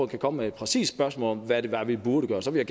kan komme med et præcist spørgsmål om hvad det var vi burde gøre så vil